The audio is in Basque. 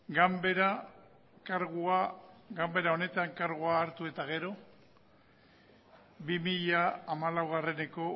ganbara honetan kargua hartu eta gero bi mila hamalaueko